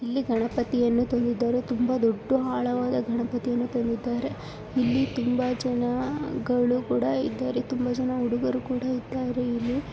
ಗಣಪತಿಯನ್ನು ತಂದಿದ್ದಾರೆ ತುಂಬಾ ದೊಡ್ದು ಆಳವಾದ ಗಣಪತಿಯನ್ನು ತಂದಿದ್ದಾರೆ ಇಲ್ಲಿ ತುಂಬಾ ಜನಗಳು ಕೂಡ ಇದ್ದಾರೆ ತುಂಬಾ ಜನ ಹುಡುಗರು ಕೂಡ ಇದ್ದಾರೆ ಇಲ್ಲಿ.